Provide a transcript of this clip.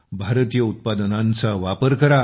भारतीय उत्पादनांचा वापर करा